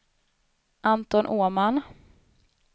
Anton Åman